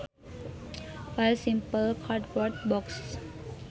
File Simple cardboard box